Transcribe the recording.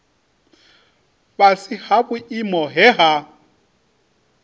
fhasi ha vhuimo he ha